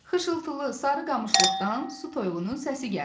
Xışıltılı, sarı qamışlıqdan su toyuğunun səsi gəldi.